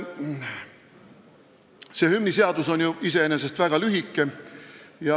See hümniseadus on iseenesest väga lühike.